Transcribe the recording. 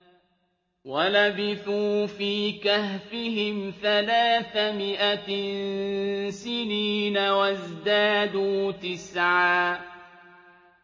وَلَبِثُوا فِي كَهْفِهِمْ ثَلَاثَ مِائَةٍ سِنِينَ وَازْدَادُوا تِسْعًا